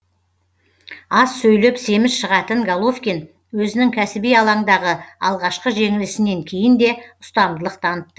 аз сөйлеп семіз шығатын головкин өзінің кәсіби алаңдағы алғашқы жеңілісінен кейін де ұстамдылық танытты